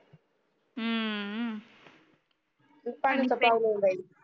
पानी